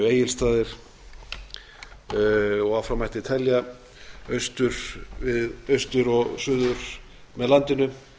egilsstaðir og áfram mætti telja austur og suður með landinu